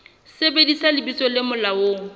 sebedisa lebitso le molaong le